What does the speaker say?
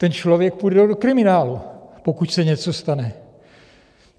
Ten člověk půjde do kriminálu, pokud se něco stane.